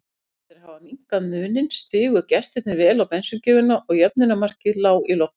Eftir að hafa minnkað muninn stigu gestirnir vel á bensíngjöfina og jöfnunarmarkið lá í loftinu.